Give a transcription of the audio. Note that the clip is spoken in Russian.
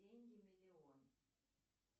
деньги миллион